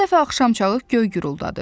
Bir dəfə axşamçağı göy güruldadı.